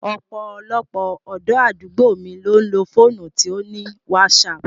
Ọ̀pọ̀lọpọ̀ ọ̀dọ́ àdúgbò mi ló ń lo fóònù to ní wásaaàpù